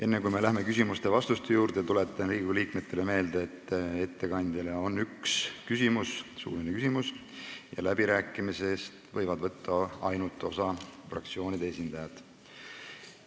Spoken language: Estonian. Enne, kui me läheme küsimuste ja vastuste juurde, tuletan Riigikogu liikmetele meelde, et ettekandjale on üks suuline küsimus ja läbirääkimistest võivad võtta osa ainult fraktsioonide esindajad.